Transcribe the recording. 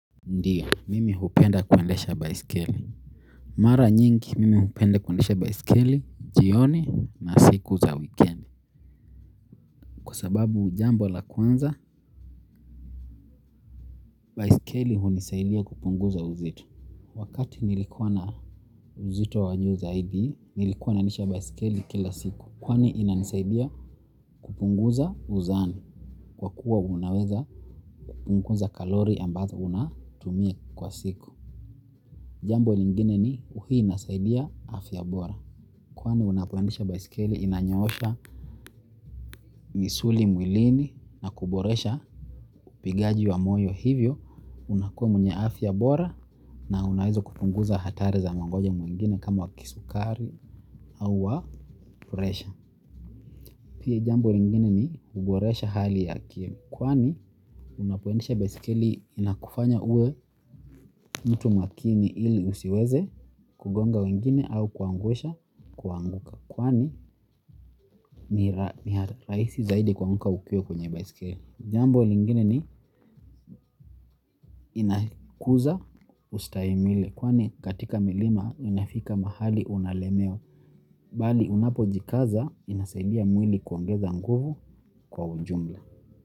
Ndiyo, mimi hupenda kuendesha baisikeli. Mara nyingi, mimi hupenda kuendesha baisikeli, jioni na siku za wikendi. Kwa sababu jambo la kwanza, baisikeli hunisaidia kupunguza uzito. Wakati nilikuwa na uzito wa juu zaidi, nilikuwa naendesha baisikeli kila siku. Kwani inanisaidia kupunguza uzani, kwa kuwa unaweza kupungunza kalori ambazo unatumia kwa siku. Jambo lingine ni hu inasaidia afya bora. Kwani unapoendesha baisikeli inanyosha misuli mwilini na kuboresha upigaji wa moyo hivyo. Unakuwa mwenye afya bora na unaeza kupunguza hatari za magonjwa mwengine kama wa kisukari au wa presha. Pia jamou lingine ni kuboresha hali ya akili. Kwani unapoendesha baisikeli inakufanya uwe mtu makini ili usiweze kugonga wengine au kuangusha kuanguka. Kwani ni rahisi zaidi kuanguka ukiwa kwenye baisikeli. Jambo lingine ni inakuza ustahimili. Kwani katika milima inafika mahali unalemewa. Bali unapo jikaza inasaidia mwili kuongeza nguvu kwa ujumla.